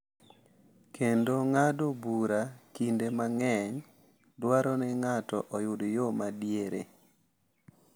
Kendo ng’ado bura kinde mang’eny dwaro ni ng’ato oyud yo ma diere.